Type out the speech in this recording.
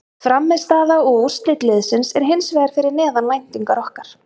Frammistaða og úrslit liðsins er hins vegar fyrir neðan væntingar okkar.